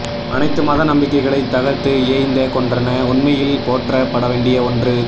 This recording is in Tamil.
அணைத்து மத நம்பிக்கைகளை தகர்த்து ஏய்ந்த கொன்றன உண்மையில் போற்ற படவேண்டிய ஓன்று